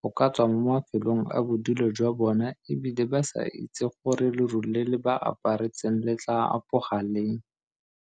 go ka tswa mo mafelong a bodulo jwa bona e bile ba sa itse gore leru le le ba aparetseng le tla apoga leng.